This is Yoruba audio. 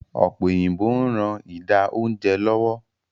Ọ̀pẹ́ òyìnbó ń ran ida oúnjẹ lọ́wọ́